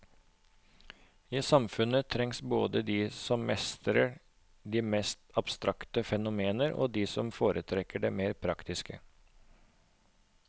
I samfunnet trengs både de som mestrer de mest abstrakte fenomener og de som foretrekker det mer praktiske.